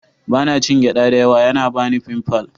Ba na cin gyaɗa da yawa, yana bani pimples.